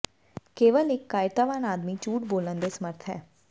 ਕੇਵਲ ਇੱਕ ਕਾਇਰਤਾਵਾਨ ਆਦਮੀ ਝੂਠ ਬੋਲਣ ਦੇ ਸਮਰੱਥ ਹੈ